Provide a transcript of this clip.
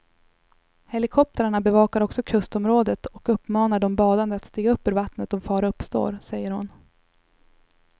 Helikoptrarna bevakar också kustområdet och uppmanar de badande att stiga upp ur vattnet om fara uppstår, säger hon.